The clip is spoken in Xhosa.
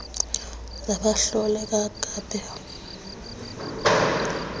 za bahlole bakope